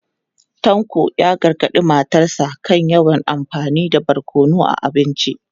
Tanko ya gargadi matarsa ​​kan yawan amfani da barkono a abinci.